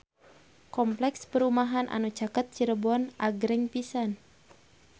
Kompleks perumahan anu caket Cirebon agreng pisan